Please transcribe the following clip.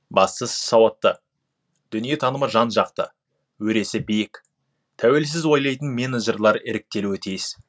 бастысы сауатты дүниетанымы жан жақты өресі биік тәуелсіз ойлайтын менеджерлер іріктелуі тиіс